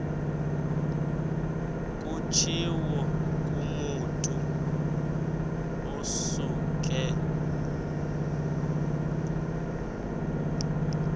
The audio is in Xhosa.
kutshiwo kumotu osuke